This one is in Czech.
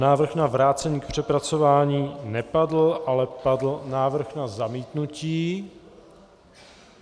Návrh na vrácení k přepracování nepadl, ale padl návrh na zamítnutí.